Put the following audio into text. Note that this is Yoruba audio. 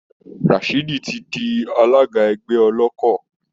Rashidi ti di alága ẹgbẹ́ Ọlọ́kọ̀